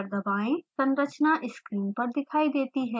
संरचना स्क्रीन पर दिखाई देती है